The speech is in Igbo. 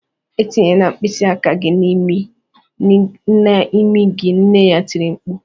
"Etinyela mkpịsị aka gị n'imi gị" nne ya tiri mkpu